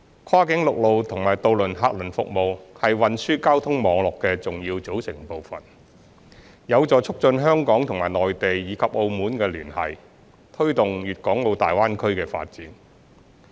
跨境陸路和渡輪客運服務是運輸交通網絡的重要組成部分，有助促進香港與內地及澳門的聯繫，推動粵港澳大灣區的發展。